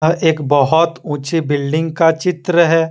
एक बहुत ऊंचे बिल्डिंग का चित्र है।